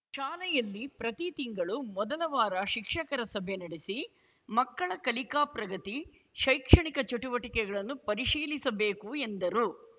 ಶಾಲೆಯಲ್ಲಿ ಪ್ರತಿ ತಿಂಗಳು ಮೊದಲ ವಾರ ಶಿಕ್ಷಕರ ಸಭೆ ನಡೆಸಿ ಮಕ್ಕಳ ಕಲಿಕಾ ಪ್ರಗತಿ ಶೈಕ್ಷಣಿಕ ಚಟುವಟಿಕೆಗಳನ್ನು ಪರಿಶೀಲಿಸಬೇಕು ಎಂದರು